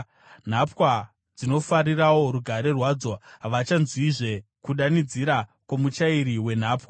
Nhapwa dzinofarirawo rugare rwadzo; havachanzwizve kudanidzira kwomuchairi wenhapwa.